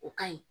O ka ɲi